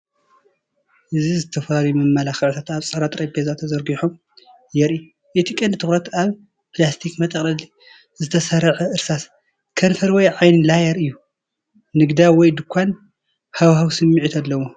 እዚ ዝተፈላለዩ መመላኽዒታት ኣብ ጻዕዳ ጠረጴዛ ተዘርጊሖም የርኢ። እቲ ቀንዲ ትኹረት ኣብ ፕላስቲክ መጠቕለሊ ዝተሰርዐ እርሳስ ከንፈር ወይ ዓይኒ ላየር እዩ። ንግዳዊ ወይ ድኳን ሃዋህው ስምዒት ኣለዎ።